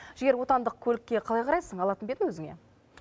жігер отандық көлікке қалай қарайсың алатын бе едің өзіңе